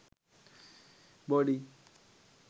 bodi